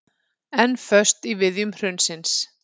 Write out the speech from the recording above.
Enn föst í viðjum hrunsins